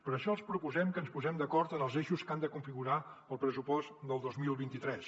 per això els proposem que ens posem d’acord en els eixos que han de configurar el pressupost del dos mil vint tres